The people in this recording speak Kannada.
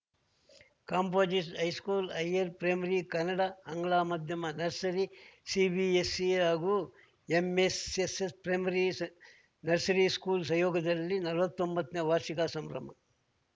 composite high school higher primary Kannada ಆಂಗ್ಲ ಮಾಧ್ಯಮ ನರ್ಸರಿ ಸಿಬಿಎಸ್‌ಸಿ ಹಾಗೂ ಎಂಎಸ್‌ಎಸ್‌ ಪ್ರೈಮರಿ ಸ್ ನರ್ಸರಿ ಸ್ಕೂಲ್‌ ಸಹಯೋಗದಲ್ಲಿ ನಲ್ವತ್ತೊಂಬತ್ತನೇ ವಾರ್ಷಿಕ ಸಂಭ್ರಮ